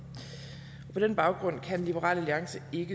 på den baggrund kan liberal alliance ikke